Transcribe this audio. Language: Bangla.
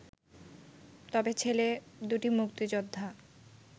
তবে ছেলে দুটি মুক্তিযোদ্ধা